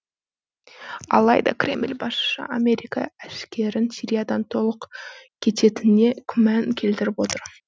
алайда кремль басшысы америка әскерін сириядан толық кететініне күмән келтіріп отыр